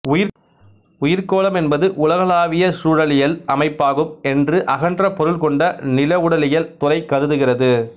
உயிர்க்கோளம் என்பது உலகளாவிய சூழலியல் அமைப்பாகும் என்று அகன்ற பொருள் கொண்ட நிலவுடலியல் துறை கருதுகிறது